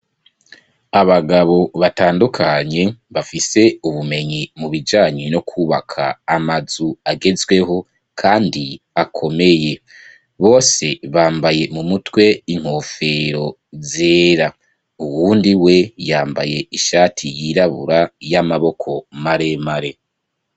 Abagabo batandukanye, bafise ubumenyi mu bijanye no kwubaka amazu agezweho, kandi akomeye; bose bambaye mu mutwe, inkofero zera; uwundi we, yambaye ishati yirabura, y'amaboko maremare.